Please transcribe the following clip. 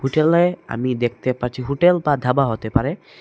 আমি দেখতে পাচ্ছি হোটেল বা ধাবা হতে পারে।